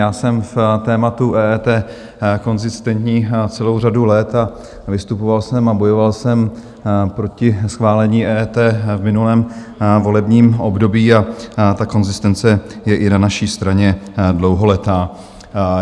Já jsem v tématu EET konzistentní celou řadu let a vystupoval jsem a bojoval jsem proti schválení EET v minulém volebním období a ta konzistence je i na naší straně dlouholetá.